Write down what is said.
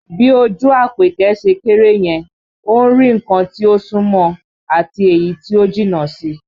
Bí ojú Àpèkẹ́ ṣe kéré yẹn, ó ń rí nǹkan tí ó sún mọ́ ọn àti èyí tí ó jìnnà sí i